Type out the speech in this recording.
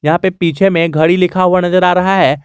यहां पे पीछे में घड़ी लिखा हुआ नजर आ रहा है।